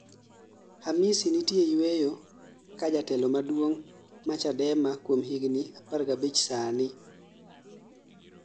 Hamisi nitie yueyo kaa jatelo maduong' ma Chadema kuom higni 15 sani